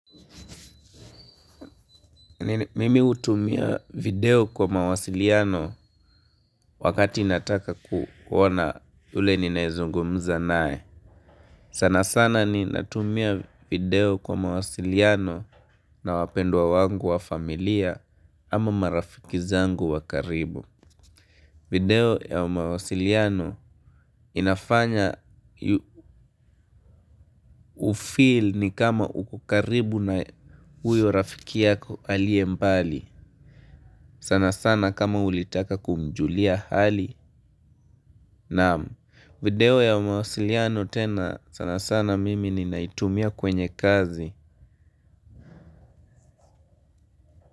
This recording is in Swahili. Mimi hutumia video kwa mawasiliano wakati nataka kuoana ule ninayezungumza naye. Sana sana ninatumia video kwa mawasiliano na wapendwa wangu wa familia ama marafiki zangu wa karibu. Video ya mawasiliano inafanya hufeel ni kama uko karibu na huyo rafiki yako aliye mbali sanasana kama ulitaka kumjulia hali. Na video ya mawasiliano tena sana sana mimi ninaitumia kwenye kazi.